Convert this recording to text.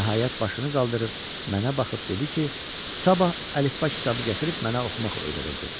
Nəhayət başını qaldırıb, mənə baxıb dedi ki, sabah əlifba kitabı gətirib mənə oxumaq öyrədəcək.